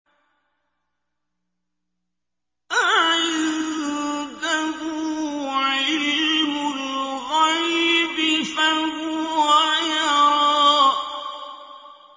أَعِندَهُ عِلْمُ الْغَيْبِ فَهُوَ يَرَىٰ